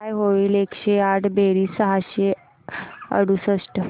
काय होईल एकशे आठ बेरीज सहाशे अडुसष्ट